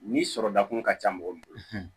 Ni sɔrɔ dakun ka ca mɔgɔ min bolo